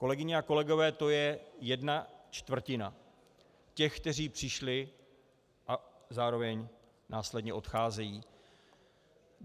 Kolegyně a kolegové, to je jedna čtvrtina těch, kteří přišli a zároveň následně odcházejí.